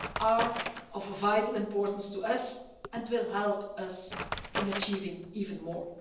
are of vital importance to us and will help us in achieving even more.